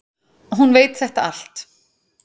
Hún veit þetta allt.